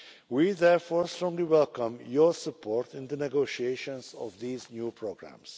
We therefore strongly welcome your support in the negotiation of these new programmes.